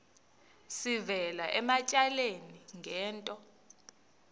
sivela ematyaleni ngento